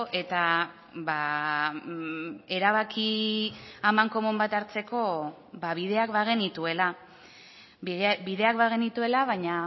eta erabaki amankomun bat hartzeko bideak bagenituela bideak bagenituela baina